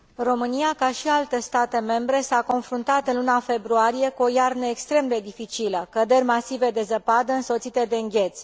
România, ca și alte state membre, s a confruntat, în luna februarie, cu o iarnă extrem de dificilă căderi masive de zăpadă, însoțite de îngheț.